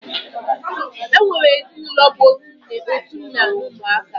E nwere ezinụlọ bụ otu nne, otu nna, na ụmụaka